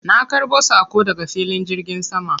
Na ƙarbo saƙo daga filin jirgin sama.